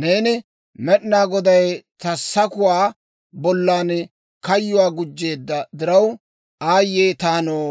‹Neeni, «Med'inaa Goday ta sakuwaa bollan kayyuu gujjeedda diraw, aayye taanoo!